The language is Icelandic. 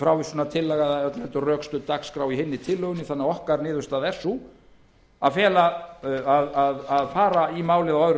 öllu heldur rökstudd dagskrá í hinni tillögunni þannig að niðurstaða okkar er sú að fara í málið á öðrum